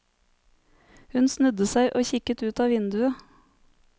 Hun snudde seg og kikket ut av vinduet.